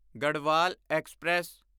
Garhwal express